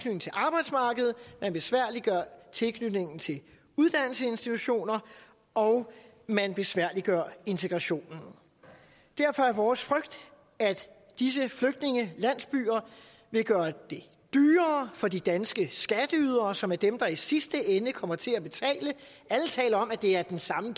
arbejdsmarkedet man besværliggør tilknytningen til uddannelsesinstitutionerne og man besværliggør integrationen derfor er vores frygt at disse flygtningelandsbyer vil gøre det dyrere for de danske skatteydere som er dem der i sidste ende kommer til at betale alle taler om at det er den samme